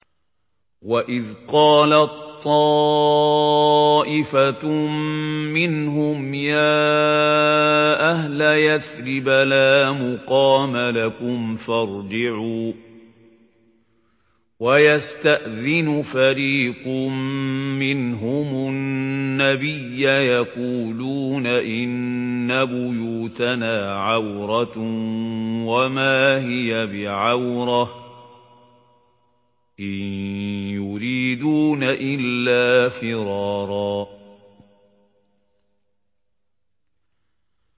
وَإِذْ قَالَت طَّائِفَةٌ مِّنْهُمْ يَا أَهْلَ يَثْرِبَ لَا مُقَامَ لَكُمْ فَارْجِعُوا ۚ وَيَسْتَأْذِنُ فَرِيقٌ مِّنْهُمُ النَّبِيَّ يَقُولُونَ إِنَّ بُيُوتَنَا عَوْرَةٌ وَمَا هِيَ بِعَوْرَةٍ ۖ إِن يُرِيدُونَ إِلَّا فِرَارًا